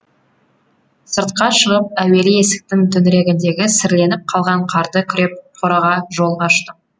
сыртқа шығып әуелі есіктің төңірегіндегі сіріленіп қалған қарды күреп қораға жол аштым